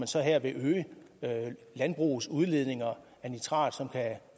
så her vil øge landbrugets udledninger af nitrat som kan